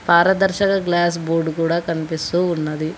పరదర్శక glass board కూడా కనిపిస్తూ ఉన్నది.